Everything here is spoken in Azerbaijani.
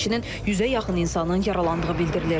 Həmçinin 100-ə yaxın insanın yaralandığı bildirilir.